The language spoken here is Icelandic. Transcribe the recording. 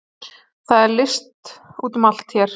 Það er list úti um allt hér.